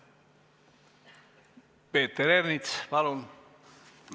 Peeter Ernits, palun!